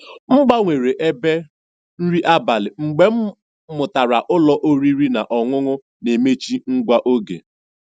M gbanwere ebe nri abalị mgbe m mụtara ụlọ oriri na ọṅụṅụ na-emechi nwa oge.